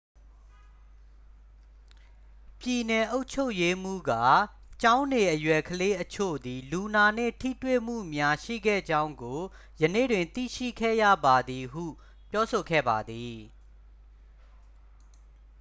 "ပြည်နယ်အုပ်ချုပ်ရေးမှူးက""ကျောင်းနေအရွယ်ကလေးအချို့သည် လူနာနှင့်ထိတွေ့မှုများရှိခဲ့ကြောင်းကို ယနေ့တွင် သိရှိခဲ့ရပါသည်" ဟု ပြောဆိုခဲ့ပါသည်။